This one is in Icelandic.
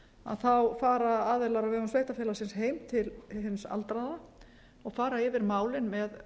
nú þá fara aðilar á vegum sveitarfélagsins heim til hins aldraða og fara yfir málin með